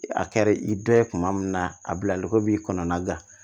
A kɛra i dɔ ye kuma min na a bilali ko b'i kɔnɔna gan